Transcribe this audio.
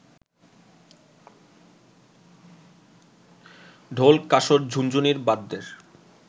ঢোল, কাসর, ঝুনঝুনির বাদ্যের